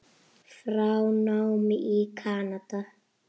frá námi í Kanada.